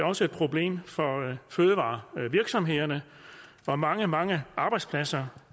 også et problem for fødevarevirksomhederne og mange mange arbejdspladser